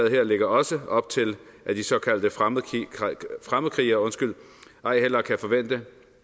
her lægger også op til at de såkaldte fremmedkrigere fremmedkrigere ej heller kan forvente